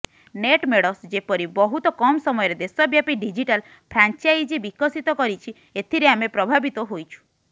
Netmeds ଯେପରି ବହୁତ କମ୍ ସମୟରେ ଦେଶବ୍ୟାପି ଡିଜିଟାଲ୍ ଫ୍ରାଞ୍ଚାଇଜି ବିକଶିତ କରିଛି ଏଥିରେ ଆମେ ପ୍ରଭାବିତ ହୋଇଛୁ